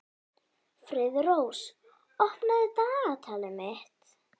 Friðrós, opnaðu dagatalið mitt.